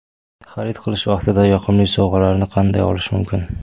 Xarid qilish vaqtida yoqimli sovg‘alarni qanday olish mumkin?